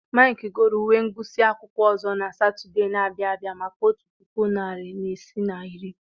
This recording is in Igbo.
Mike goro uwe ngụsị akwụkwọ ọzọ na Satọde na-abịa maka otu puku na narị ise na iri.